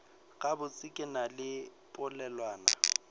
gabotse ke na le polelwana